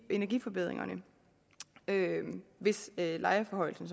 energiforbedringerne hvis lejeforhøjelsen